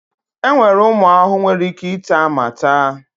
Enwere ụmụ ahụhụ nwere ike ịta ma ta.